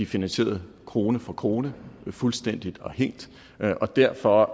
finansieret krone for krone fuldstændig og helt derfor